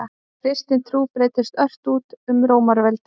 Kristin trú breiddist ört út um Rómaveldi.